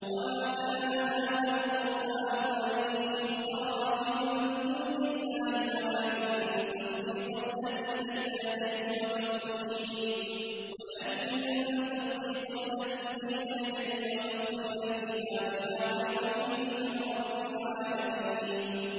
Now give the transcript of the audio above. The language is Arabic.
وَمَا كَانَ هَٰذَا الْقُرْآنُ أَن يُفْتَرَىٰ مِن دُونِ اللَّهِ وَلَٰكِن تَصْدِيقَ الَّذِي بَيْنَ يَدَيْهِ وَتَفْصِيلَ الْكِتَابِ لَا رَيْبَ فِيهِ مِن رَّبِّ الْعَالَمِينَ